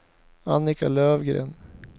Annika Löfgren